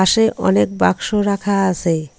পাশে অনেক বাক্স রাখা আছে।